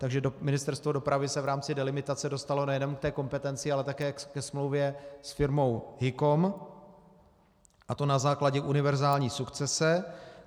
Takže Ministerstvo dopravy se v rámci delimitace dostalo nejenom k té kompetenci, ale také ke smlouvě s firmou Hikon, a to na základě univerzální sukcese.